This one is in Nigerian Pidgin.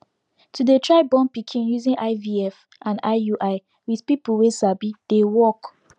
to dey try born pikin using ivf and iui with people wey sabi deywork